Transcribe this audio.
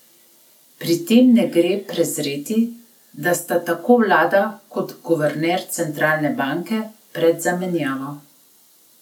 Pri tem ne gre prezreti, da sta tako vlada kot guverner centralne banke pred zamenjavo.